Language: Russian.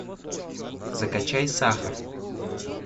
закачай сахар